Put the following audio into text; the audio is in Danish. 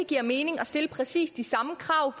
giver mening at stille præcis det samme krav